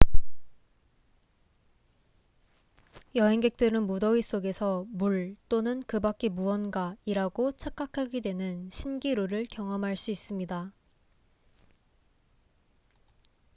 여행객들은 무더위 속에서 물또는 그 밖의 무언가이라고 착각하게 되는 신기루를 경험할 수 있습니다